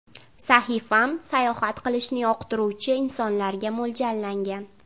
Sahifam-sayohat qilishni yoqtiruvchi insonlarga mo‘ljallangan.